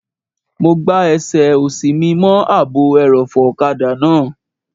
Mo gbá ẹsẹ̀ òsì mi mọ́ ààbò ẹrọ̀fọ̀ ọ̀kadà náà